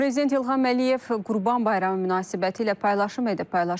Prezident İlham Əliyev Qurban bayramı münasibətilə paylaşım edib.